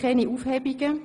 (Keine Aufhebungen)